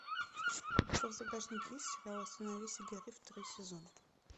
у тебя в загашнике есть сериал остановись и гори второй сезон